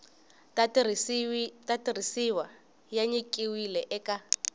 ta tirhisiwa ya nyikiwile eka